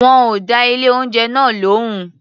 Wọn ò dá ilé-oúnjẹ náà lóhùn.